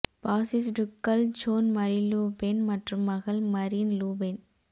பாசிஸ்டுக்கள் Jean Marie Le Pen மற்றும் மகள் Marine Le pen